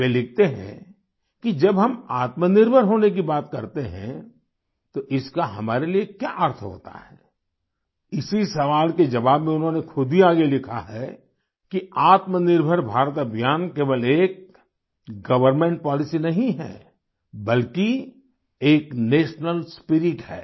वे लिखते हैं कि जब हम आत्मनिर्भर होने की बात करते हैं तो इसका हमारे लिए क्या अर्थ होता है इसी सवाल के जवाब में उन्होंने खुद ही आगे लिखा है कि आत्मनिर्भर भारत अभियान केवल एक गवर्नमेंट पॉलिसी नहीं है बल्कि एक नेशनल स्पिरिट है